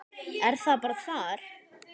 Er það bara þar?